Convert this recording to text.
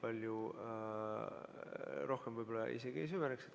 Aga ma sellesse rohkem võib-olla isegi ei süveneks.